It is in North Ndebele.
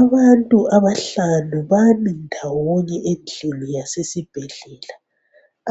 Abantu abahlanu bami ndawonye endlini yasesibhedlela